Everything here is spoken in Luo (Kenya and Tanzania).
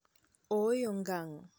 Ooyo ngang'.